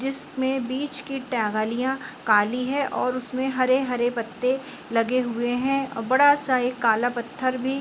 जिसमें बीच की टहलियाँ काली हैं और उसमे हरे-हरे पत्ते लगे हुए हैं और बड़ा सा एक काला पत्थर भी --